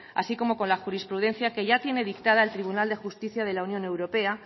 así como con la jurisprudencia que ya tiene dictada el tribunal de justicia de la unión europea